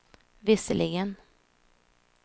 visserligen